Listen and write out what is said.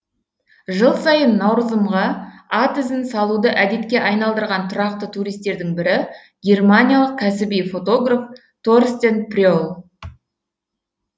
жыл сайын наурызымға ат ізін салуды әдетке айналдырған тұрақты туристердің бірі германиялық кәсіби фотограф торстен пре л